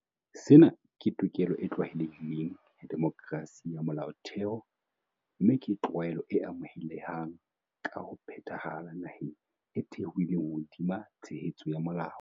Sena ke tokelo e tlwaelehileng ya demokerasi ya molaotheo mme ke tlwaelo e amohelehang ka ho phethahala naheng e thehilweng hodima tshebetso ya molao.